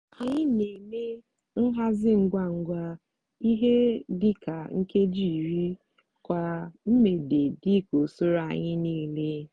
anyị n'eme nhazi ngwa ngwa ihe di ka nkeji iri kwa mgbede dika usoro anyi niile